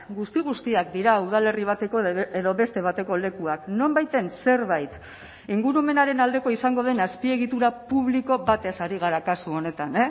guzti guztiak dira udalerri bateko edo beste bateko lekuak nonbaiten zerbait ingurumenaren aldekoa izango den azpiegitura publiko batez ari gara kasu honetan